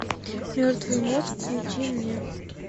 мертвый мозг включи мне